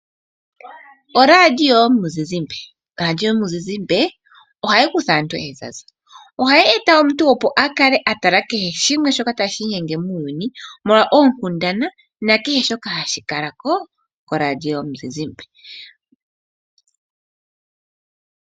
Oradio yomuzizimbe ohayi kutha aantu ezaza ohayi e ta omuntu opo a kale a tala kehe shimwe shoka ta shiinyenge muuyuni molwa oonkundana na kehe shoka hashi kala ko koradio yomuzizimbe.